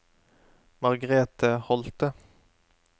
Margrethe Holthe